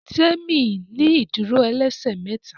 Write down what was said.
Temi ní ìdúró ẹlẹsẹ méta